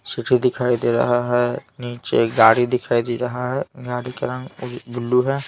City दिखाई दे रहा है नीचे गाड़ी दिखाई दे रहा है गाड़ी का रंग ब्लू है.